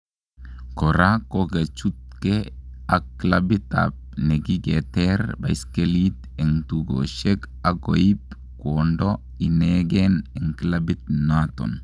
Kora kokichutnge ak clabit ap nekigeter baiskelit en tukoshek ak goip kwando ineegen en clabit naton